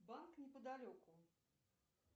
банк неподалеку